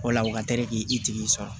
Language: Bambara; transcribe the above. O la u ka teli k'i tigi sɔrɔ